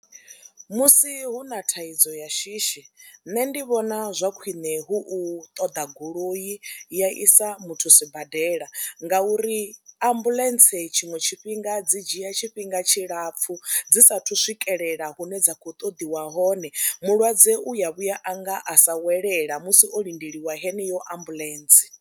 Musi hu na thaidzo ya shishi nṋe ndi vhona zwa khwine hu u ṱoḓa goloi ya isa muthu sibadela ngauri ambuḽentse tshiṅwe tshifhinga dzi dzhia tshifhinga tshilapfhu dzi saathu swikelela hune dza khou ṱoḓiwa hone, mulwadze u ya vhuya a nga a sa welela musi o lindeliwa heneyo ambuḽentse.